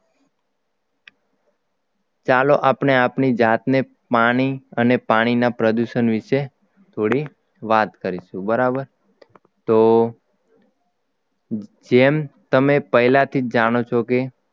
ચાલો આપણે આપણી જાતને પાની અને પાણીના પ્રદૂષણ વિશે થોડીક વાત કરીશું બરાબર તો જેમ તમે પહેલાથી જ જાણો છો કે